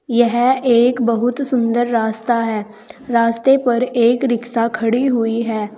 यह एक बहुत सुंदर रास्ता है रास्ते पर एक रिक्शा खड़ी हुई है।